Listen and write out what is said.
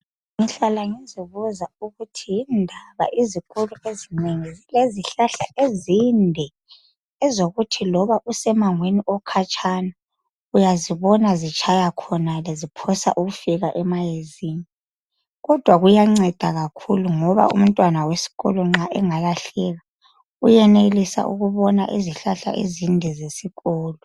Ngihlala ngizibuza ukuthi yindaba izikolo ezinengi zilezihlahla ezinde ezokuthi loba usemangweni okhatshana uyazibona zitshaya khonale ziphosa ukufika emayezini kodwa kuyanceda kakhulu ngoba umntwana wesikolo nxa engalahleka uyenelisa ukubona izihlahla ezinde zesikolo.